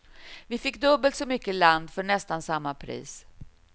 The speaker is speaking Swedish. Vi fick dubbelt så mycket land för nästan samma pris.